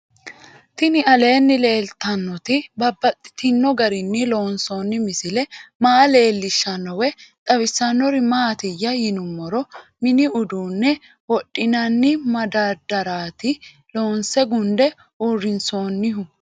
Tinni aleenni leelittannotti babaxxittinno garinni loonsoonni misile maa leelishshanno woy xawisannori maattiya yinummoro mini uduunne wodhinanni madadaraatti loonse gunde uurinsoonnihu